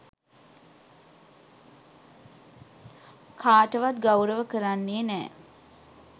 කාටවත් ගෞරව කරන්නේ නෑ.